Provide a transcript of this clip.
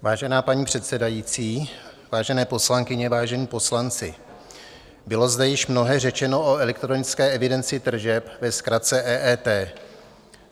Vážená paní předsedající, vážené poslankyně, vážení poslanci, bylo zde již mnohé řečeno o elektronické evidenci tržeb, ve zkratce EET.